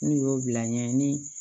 N'u y'o bila ɲɛɲini